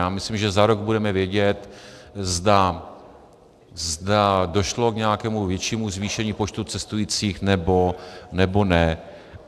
Já myslím, že za rok budeme vědět, zda došlo k nějakému většímu zvýšení počtu cestujících, nebo ne.